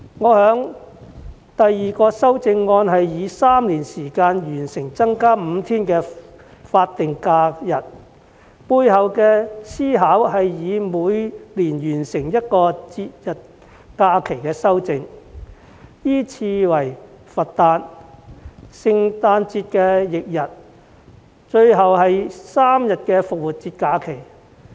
我的第二項擬議修正案是以3年完成增加5天法定假日，背後的思考是每年完成一項節日假期的修訂，依次為佛誕、聖誕節翌日及最後是3天復活節假期。